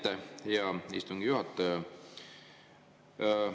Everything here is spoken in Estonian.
Aitäh, hea istungi juhataja!